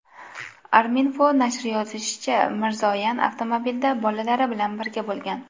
Arminfo nashri yozishicha , Mirzoyan avtomobilda bolalari bilan birga bo‘lgan.